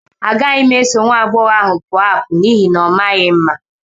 Agaghị m eso nwa agbọghọ ahụ pụọ apụ n'ihi na ọ maghị mma.